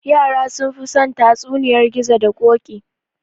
Yara sunfi son tatsuniyar gizo da koɗi